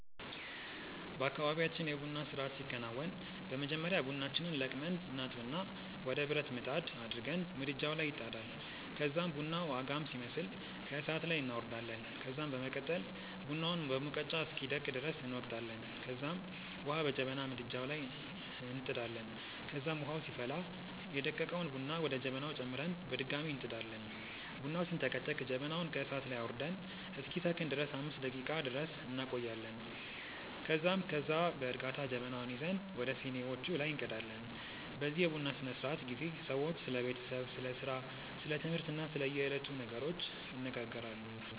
በአካባብያችን የ ቡና ስርአት ሲከናወን በመጀመሪያ ቡናችንን ለቅመን እናጥብና ወደ ብረት ምጣድ አድርገን ምድጃዉ ላይ ይጣዳል ከዛም ቡናዉ አጋም ሲመስል ከእሳት ላይ እናወርዳለን ከዛም በመቀጠል ቡናውን በሙቀጫ እስኪደቅ ድረስ እንወቅጣለንከዛም ዉሀ በጀበና ምድጃዉ ላይ እንጥዳለን ከዛም ዉሀዉ ሲፈላ ደቀቀዉን ቡና ወደ ጀበናዉ ጨምረን በድጋሚ እንጥዳለን። ቡናዉ ሲንተከተክ ጀበናዉን ከእሳት ላይ አዉርደን እስኪሰክን ድረስ 5 ደቄቃ ድረስ እንቆያለን ከዛም ከዛ በእርጋታ ጀበናዉን ይዘን ወደ ሲኒዋቹ ላይ እንቀዳለን። በዚህ የቡና ስነስርዓት ጊዜ ሰዎች ስለ ቤተሰብ፣ ስለ ስራ፣ ስለ ትምህርት እና ስለ የዕለቱ ነገሮች ይነጋገራሉ።